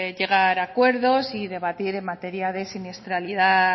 llegar a acuerdos en materia de siniestralidad